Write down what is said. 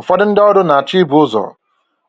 Ụfọdụ ndị ọrụ na-achọ ibu ụzọ